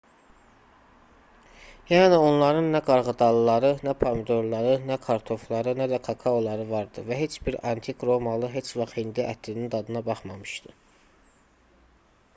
yəni onların nə qarğıdalıları nə pomidorları nə kartofları nə də kakaoları vardı və heç bir antik romalı heç vaxt hindi ətinin dadına baxmamışdı